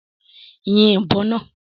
Yìn ìbọn náà!